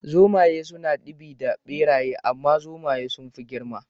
Zomaye suna ɗibi da ɓeraye amma Zomaye sunfi girma